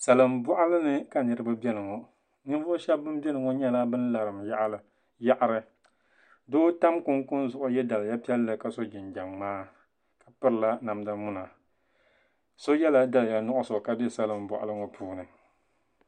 Salin boɣali ni ka niraba biɛni ŋo Ninvuɣu shab bin biɛni ŋo nyɛla bin larim yaɣari doo tam kunkun zuɣu yɛ daliya piɛlli ka so jinjɛm ŋmaa ka pirila namda muna so yɛla daliya nuɣso ka bɛ salin boɣali ŋo puuni